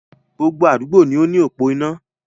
Gbogbo àdúgbò ní o ni opò iná.